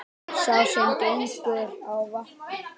Sá sem gengur á vatni,